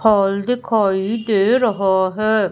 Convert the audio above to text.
Hall दिखाई दे रहा है।